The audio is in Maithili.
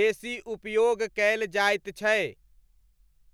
बेसी उपयोग कयल जायत छै।